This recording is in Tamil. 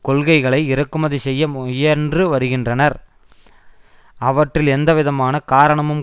கொள்கைகளை இறக்குமதி செய்ய முயன்று வருகின்றனர் அவற்றில் எந்தவிதமான காரணமும்